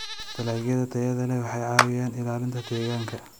Dalagyada tayada leh waxay caawiyaan ilaalinta deegaanka.